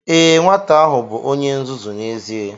Ee, nwata ahụ bụ onye nzuzu n'ezie